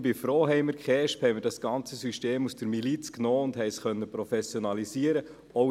Ich bin froh, haben wir die KESB, haben wir das ganze System aus der Miliz genommen und haben es professionalisieren können.